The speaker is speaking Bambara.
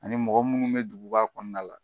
Ani mɔgɔ munnu be duguba kɔnɔna la.